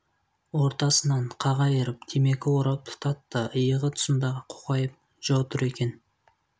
ортасынан қақ айырып темекі орап тұтатты иығы тұсында қоқайып джо тұр екен